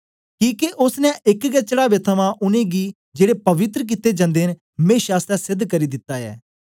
किके ओसने एक गै चढ़ावे थमां उनेंगी जेड़े पवित्र कित्ते जन्दे न मेशा आसतै सेध करी दिता ऐ